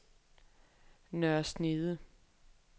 Nørre Snede